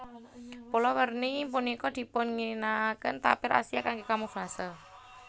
Pola werni punika dipunginakaken tapir Asia kanggé kamuflase